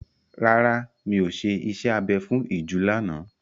Rárá, mi ò ṣe iṣẹ́ abẹ fún ìju lánàá.